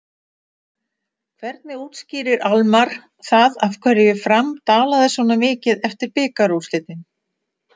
Hvernig útskýrir Almarr það af hverju Fram dalaði svona mikið eftir bikarúrslitin?